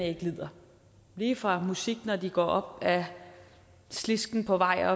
ikke lider lige fra musik når de går op ad slisken på vej